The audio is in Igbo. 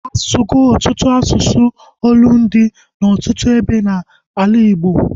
Asugo ọtụtụ asụsụ olundi na ọtụtụ ebe na ala Igbo